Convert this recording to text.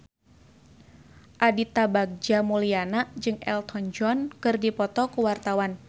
Aditya Bagja Mulyana jeung Elton John keur dipoto ku wartawan